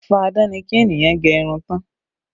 Fá-a-dán ni kí ènìyàn gẹ irun tán